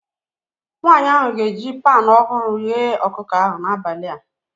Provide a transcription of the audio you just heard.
Nwanyị ahụ ga-eji panu ọhụrụ ghee ọkụkọ ahụ n'abalị a